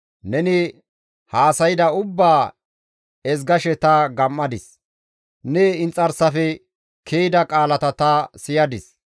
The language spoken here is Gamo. Neni haasayda ubbaa ezgashe ta gam7adis; ne inxarsafe ke7ida qaalata ta siyadis.